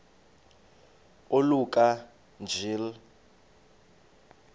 oluka ka njl